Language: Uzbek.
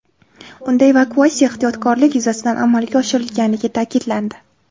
Unda evakuatsiya ehtiyotkorlik yuzasidan amalga oshirilganligi ta’kidlandi.